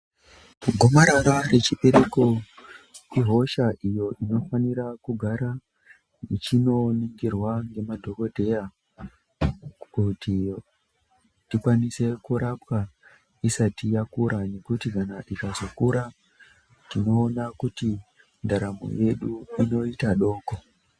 Gomarara rechibereko ihosha iyo inofanira kugara ichi noonekerwa ngemadhokodheya kuti tikwanise kurapwa isati yakura nekuti kana ikazokura tinoona kuti ndaramo yedu inoita doko.